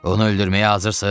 Onu öldürməyə hazırsız?